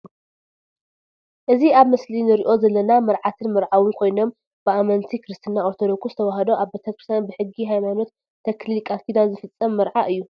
እዚ ኣብ ምስሊ ንርኦ ዘለና መርዓትን መርዓውን ኮይኖም ብአመንቲ ክርስትና ኦርቶዶክስ ተዋህዶ ኣብ ቤተ-ክርስትያን ብሕጊ ሃይማኖትተክሊል ቃልኪዳን ዝፍፀም መርዓ እዩ።